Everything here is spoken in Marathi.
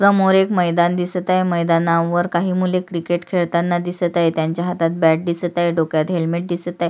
समोर एक मैदान दिसत आहे मैदानावर काही मुले क्रिकेट खेळताना दिसत आहेत त्यांच्या हातात बॅट दिसत आहे डोक्यावर हेल्मेट दिसत आहे.